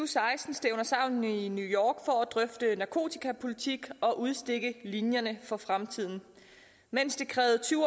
seksten stævner sammen i new york for at drøfte narkotikapolitik og udstikke linjerne for fremtiden mens det krævede tyve